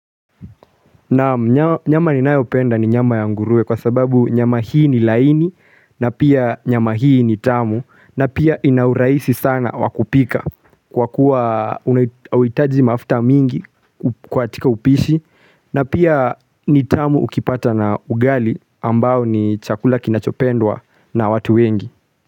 Na nyama ninayopenda ni nyama ya nguruwe kwa sababu nyama hii ni laini na pia nyama hii ni tamu na pia ina urahisi sana wa kupika Kwa kuwa hauhitaji mafuta mingi katika upishi na pia ni tamu ukipata na ugali ambao ni chakula kinachopendwa na watu wengi.